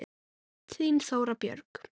Þín, Þóra Björg.